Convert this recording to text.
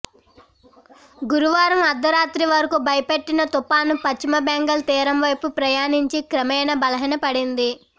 గురువారం అర్ధరాత్రి వరకు భయపెట్టిన తుపాను పశ్చిమబెంగాల్ తీరం వైపు ప్రయాణించి క్రమేణా బలహీనపడింది